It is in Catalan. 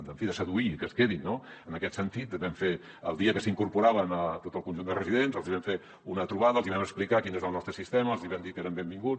en fi de seduir i que es quedin no en aquest sentit el dia que s’incorporaven a tot el conjunt de residents els vam fer una trobada els vam explicar quin és el nostre sistema i els vam dir que eren benvinguts